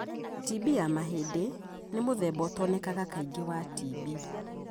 TB ya mahĩndĩ nĩmũthemba ũtonekanaga kaingĩ wa TB.